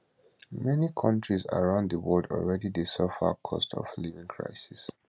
many kontris around di world already dey suffer cost of living crisis